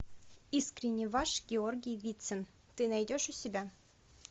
искренне ваш георгий вицин ты найдешь у себя